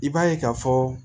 I b'a ye k'a fɔ